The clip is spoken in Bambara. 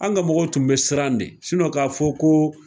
An ga mɔgɔw tun bɛ siran de k'a fɔ ko